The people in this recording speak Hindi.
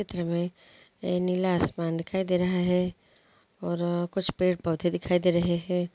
इस चित्र मैं नीला आसमान दिखाई दे रहा है और कुछ पेड़ पौधे दिखाई दे रहे है।